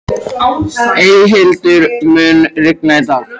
Eyhildur, mun rigna í dag?